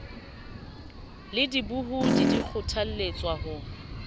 le dibohodi di kgothaletswa ho